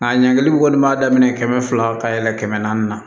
Nka ɲangili kɔni b'a daminɛ kɛmɛ fila ka yɛlɛn kɛmɛ naani na